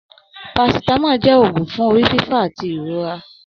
Parasitamọ jẹ òògùn fún orí fífọ àti ìrora.